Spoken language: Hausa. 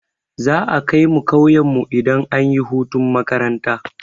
Za'a kaimu ƙauyen mu idan anyi hutun makaranta.